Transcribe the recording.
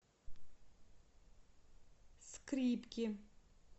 скрипки